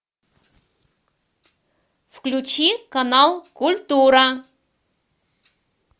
включи канал культура